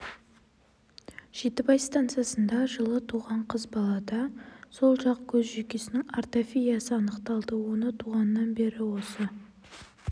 -жетібай станциясында жылы туған қыз балада сол жақ көз жүйкесінің артафиясы анықталды оны туғаннан бері осы